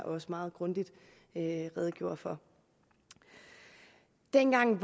også meget grundigt redegjorde for dengang